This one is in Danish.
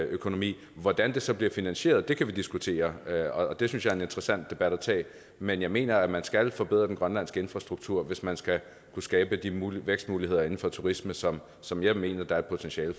økonomi hvordan det så bliver finansieret kan vi diskutere og det synes jeg er en interessant debat at tage men jeg mener at man skal forbedre den grønlandske infrastruktur hvis man skal kunne skabe de vækstmuligheder inden for turisme som som jeg mener der er potentiale